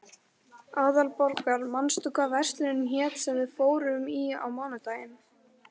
Aðalborgar, manstu hvað verslunin hét sem við fórum í á mánudaginn?